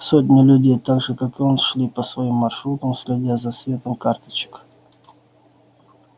сотни людей так же как и он шли по своим маршрутам следя за светом карточек